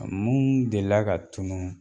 A muun delila ka tunun